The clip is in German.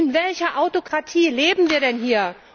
In welcher Autokratie leben wir denn hier?